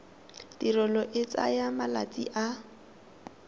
tirelo e tsaya malatsi a